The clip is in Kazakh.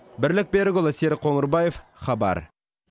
бірлік берікұлы серік қоңырбаев хабар